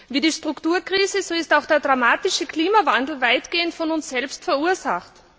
Wie die Strukturkrise ist auch der dramatische Klimawandel weitgehend von uns selbst verursacht.